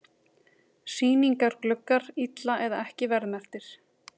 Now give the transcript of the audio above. Sýningargluggar illa eða ekki verðmerktir